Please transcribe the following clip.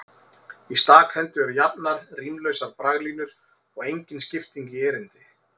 Í stakhendu eru jafnar, rímlausar braglínur og engin skipting í erindi.